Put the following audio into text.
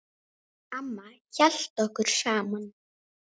Amma hélt okkur saman.